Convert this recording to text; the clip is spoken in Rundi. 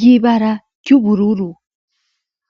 y'ibara ry'ubururu.